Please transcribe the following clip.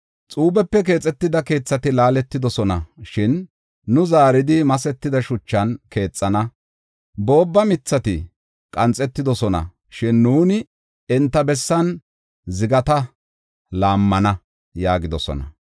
“Xuubepe keexetida keethati laaletidosona; shin nu zaaridi masetida shuchan keexana; boobba mithati qanxetidosona; shin nu enta bessan zigata laammana” yaagidosona.